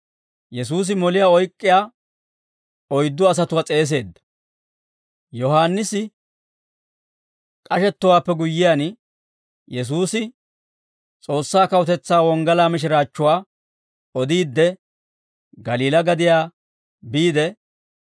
Yohaannisi k'ashettowaappe guyyiyaan, Yesuusi S'oossaa kawutetsaa wonggalaa mishiraachchuwaa odiidde, Galiilaa gadiyaa biide,